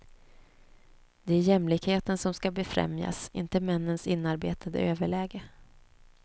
Det är jämlikheten som ska befrämjas, inte männens inarbetade överläge.